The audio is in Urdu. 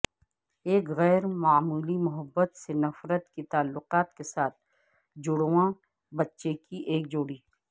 ایک غیر معمولی محبت سے نفرت کے تعلقات کے ساتھ جڑواں بچے کی ایک جوڑی